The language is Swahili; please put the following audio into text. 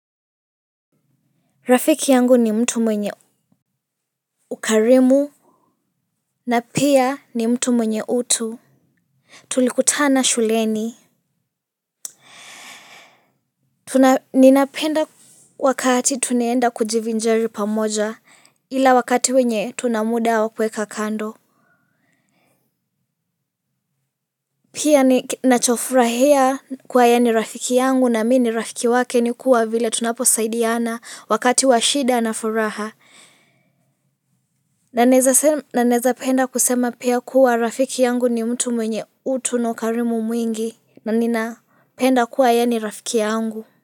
Rafiki yangu ni mtu mwenye ukarimu. Na pia ni mtu mwenye utu. Tulikutana shuleni. Ninapenda wakati tunaenda kujivinjari pamoja, ila wakati wenye tuna muda wa kuweka kando. Pia ni nachofurahia kuwa ye ni rafiki yangu na mi ni rafiki wake ni kuwa vile tunaposaidiana wakati wa shida na furaha. Na naeza penda kusema pia kuwa rafiki yangu ni mtu mwenye utu na ukarimu mwingi, na ninapenda kuwa yeye ni rafiki yangu.